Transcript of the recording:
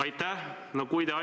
Aitäh!